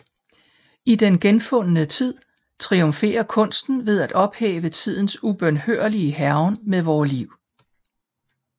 I Den genfundne tid triumferer kunsten ved at ophæve tidens ubønhørlige hærgen med vore liv